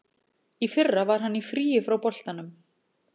Í fyrra var hann í fríi frá boltanum.